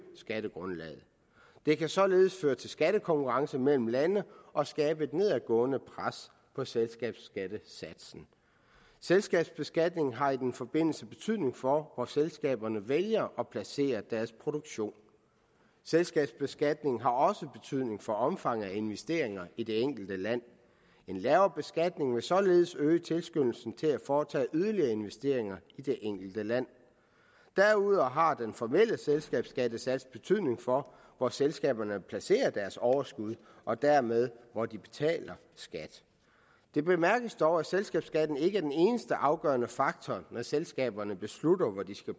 skattegrundlaget det kan således føre til skattekonkurrence mellem lande og skabe et nedadgående pres på selskabsskattesatsen selskabsbeskatningen har i den forbindelse betydning for hvor selskaberne vælger at placere deres produktion selskabsbeskatningen har også betydning for omfanget af investeringer i det enkelte land en lavere beskatning vil således øge tilskyndelsen til at foretage yderligere investeringer i det enkelte land derudover har den formelle selskabsskattesats betydning for hvor selskaberne placerer deres overskud og dermed hvor de betaler skat det bemærkes dog at selskabsskatten ikke er den eneste afgørende faktor når selskaberne beslutter hvor de skal